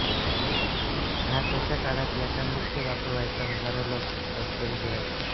नाथांच्या काळात याचा नित्य वापर व्हायचा हजारो लोक रोज घरी जेवायचे